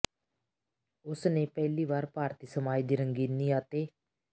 ਉਸ ਨੇ ਪਹਿਲੀ ਵਾਰ ਭਾਰਤੀ ਸਮਾਜ ਦੀ ਰੰਗੀਨੀ ਅਤੇ